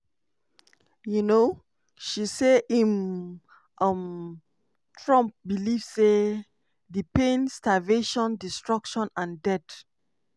um she say im um (trump) believe say "di pain starvation destruction and death